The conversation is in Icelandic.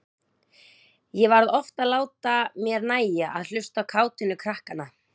Ég varð oft að láta mér nægja að hlusta á kátínu krakkanna.